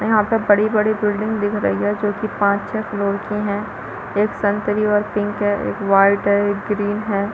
यहाँ पर बड़ी-बड़ी बिल्डिंग दिख रही है जो की पाँच छै करोड़ की है एक संतरी और पिंक है एक वाइट है एक ग्रीन है।